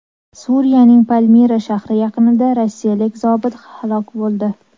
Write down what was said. Suriyaning Palmira shahri yaqinida rossiyalik zobit halok bo‘ldi.